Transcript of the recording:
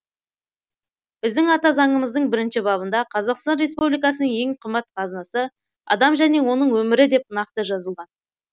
біздің ата заңымыздың бірінші бабында қазақстан республикасының ең қымбат қазынасы адам және оның өмірі деп нақты жазылған